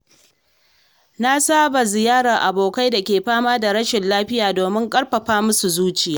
Na saba ziyartar abokai da ke fama da rashin lafiya domin ƙarfafa musu zuciya.